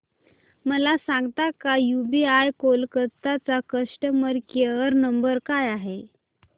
मला सांगता का यूबीआय कोलकता चा कस्टमर केयर नंबर काय आहे